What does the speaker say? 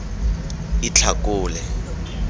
itlhakole